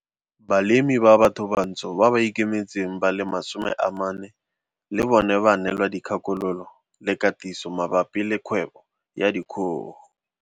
Balemirui ba bathobantsho ba ba ikemetseng ba le 40 le bona ba neelwa dikgakololo le katiso mabapi le kgwebo ya dikgogo.